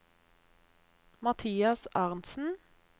Mathias Arntsen